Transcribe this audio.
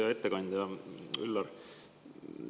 Hea ettekandja Üllar!